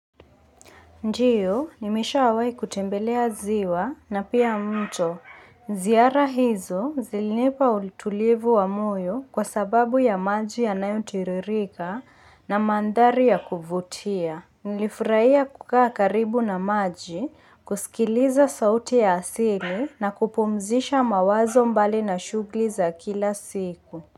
Ndiyo, nimewahi wawai kutembelea ziwa na pia mto. Ziara hizo zilinepa ulitulivu wa moyo kwa sababu ya maji ya nayo tiririka na mandhari ya kuvutia. Nilifurahia kukaa karibu na maji, kusikiliza sauti ya asili na kupumzisha mawazo mbali na shughuli za kila siku.